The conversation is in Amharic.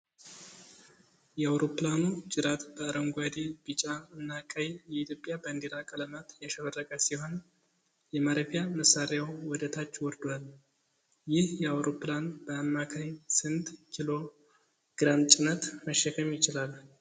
የአውሮፕላኑ ጅራት በአረንጓዴ፣ ቢጫ እና ቀይ የኢትዮጵያ ባንዲራ ቀለማት ያሸበረቀ ሲሆን፣ የማረፊያ መሳሪያው ወደ ታች ወርዷል። ይህ አይሮፕላን በአማካይ ስንት ኪሎ ግራም ጭነት መሸከም ይችላል?